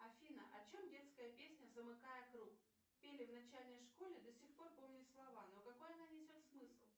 афина о чем детская песня замыкая круг пели в начальной школе до сих пор помню слова но какой она несет смысл